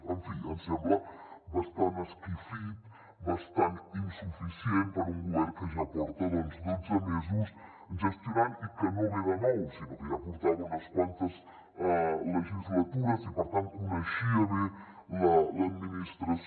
en fi em sembla bastant esquifit bastant insuficient per a un govern que ja porta dotze mesos gestionant i que no ve de nou sinó que ja portava unes quantes legislatures i per tant coneixia bé l’administració